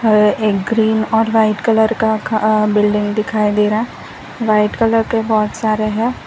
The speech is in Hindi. एक ग्रीन और व्हाइट कलर का अ बिल्डिंग दिखाई दे रहा है व्हाइट कलर के बहुत सारे हैं।